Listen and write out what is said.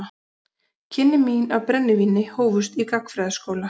Kynni mín af brennivíni hófust í gagnfræðaskóla.